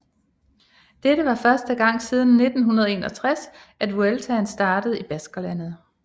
Dette var første gang siden 1961 at Vueltaen startede i Baskerlandet